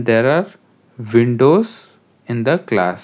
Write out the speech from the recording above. there are windows in the class.